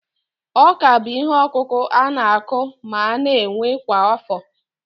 Ọ́kà bụ ihe ọkụkụ a na-akụ ma na-ewe kwa afọ